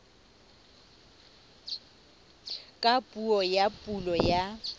ka puo ya pulo ya